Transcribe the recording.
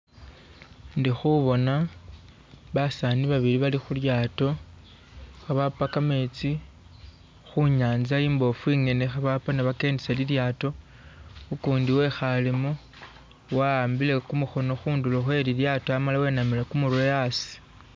Indi khuboona basaani babili bali khu lyaato kha bapa kametsi khu nyanza imboofu ingene, kha bapa ni bakendesa lilyaato, ukundi wekhaalemu wa'ambile kumukhono khundulo khwe lilyaato amala wenamile kumurwe asi.